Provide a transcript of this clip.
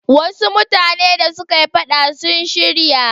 Wasu mutane da suka yi faɗa sun shirya.